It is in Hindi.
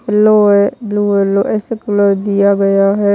येलो है ब्लू येलो ऐसे कलर दिया गया है।